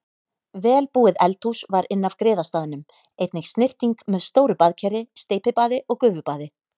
Vel búið eldhús var inn af griðastaðnum, einnig snyrting með stóru baðkeri, steypibaði og gufubaði.